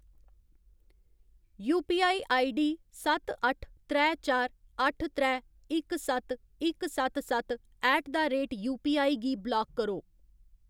UPI ID सत्त अट्ठ त्रै चार अट्ठ त्रै इक सत्त इक सत्त सत्त ऐट द रेट यूपीआई गी ब्लाक करो।